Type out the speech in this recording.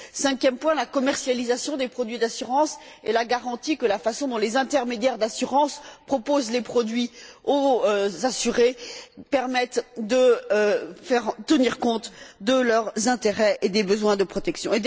Cinquième point, la commercialisation des produits d'assurance et la garantie que la façon dont les intermédiaires d'assurance proposent les produits aux assurés permette de tenir compte de leurs intérêts et des besoins de protection.